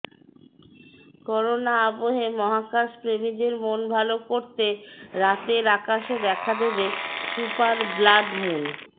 corona আবহে মহাকাশ প্রেমীদের মন ভালো করতে রাতের আকাশে দেখা দেবে সুপার ব্লাড মুন